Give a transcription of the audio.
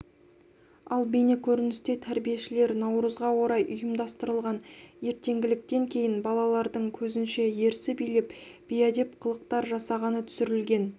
ал бейнекөріністе тәрбиешілер наурызға орай ұйымдастырылған ертеңгіліктен кейін балалардың көзінше ерсі билеп бейәдеп қылықтар жасағаны түсірілген